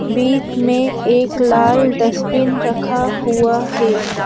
बीच में एक लाल डस्टबिन रखा हुआ है।